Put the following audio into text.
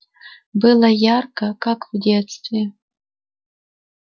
было ярко как в детстве